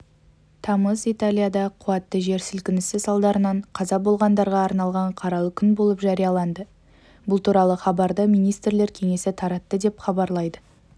тамыз италияда қуатты жер сілкінісі салдарынан қаза болғандарғаарналған қаралы күн болып жарияланды бұл туралы хабарды министрлер кеңесі таратты деп хабарлайды